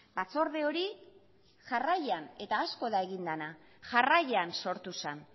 batzorde hori jarraian eta asko da egin dena jarraian sortu zen